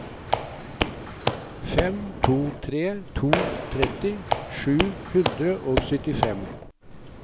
fem to tre to tretti sju hundre og syttifem